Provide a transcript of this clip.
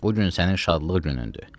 Bu gün sənin şadlıq günündür.